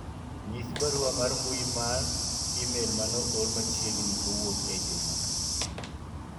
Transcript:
nyis barua mar mbui mar email maoor machiegni kowuok e juma